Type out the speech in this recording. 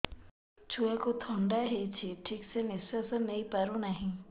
ଛୁଆକୁ ଥଣ୍ଡା ହେଇଛି ଠିକ ସେ ନିଶ୍ୱାସ ନେଇ ପାରୁ ନାହିଁ